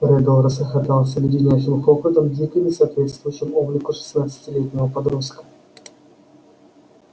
реддл расхохотался леденящим хохотом дико не соответствующим облику шестнадцатилетнего подростка